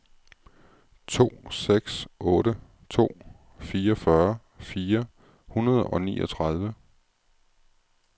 to seks otte to fireogfyrre fire hundrede og niogtredive